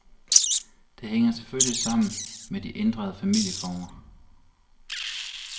Det hænger selvfølgelig sammen med de ændrede familieformer.